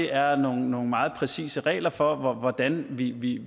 er nogle meget præcise regler for hvordan vi vi